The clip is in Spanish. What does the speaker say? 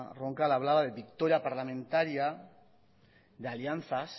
roncal hablaba de victoria parlamentaria de alianzas